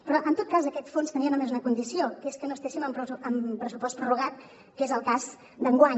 però en tot cas aquest fons tenia només una condició que és que no estiguéssim amb pressupost prorrogat que és el cas d’enguany